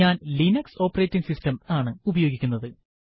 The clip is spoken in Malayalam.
ഞാൻ ലിനക്സ് ഓപ്പറേറ്റിംഗ് സിസ്റ്റം ആണ് ഉപയോഗിക്കുന്നത്